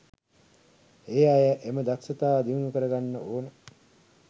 ඒ අය එම දක්ෂතා දියුණු කරගන්න ඕන.